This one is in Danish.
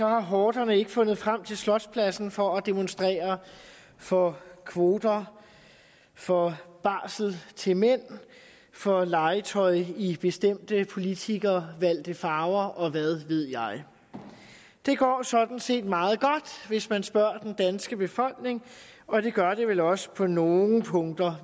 har horderne ikke fundet frem til slotspladsen for at demonstrere for kvoter for barsel til mænd for legetøj i bestemte politikervalgte farver og hvad ved jeg det går sådan set meget godt hvis man spørger den danske befolkning og det gør det vel også på nogle punkter